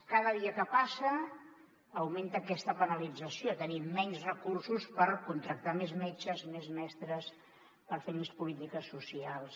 cada dia que passa augmenta aquesta penalit·zació tenim menys recursos per contractar més metges més mestres per fer més polítiques socials